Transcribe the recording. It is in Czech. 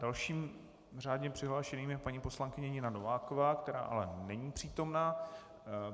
Dalším řádně přihlášeným je paní poslankyně Nina Nováková, která ale není přítomna.